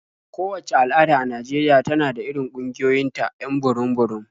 Kowacce al'ada a Najeriya tana da irin ƙungiyoyinta 'yan burum-burum.